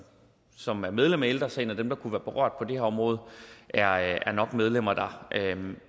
som er medlem af ældre sagen og dem der kunne være berørt på det her område er er nok medlemmer dér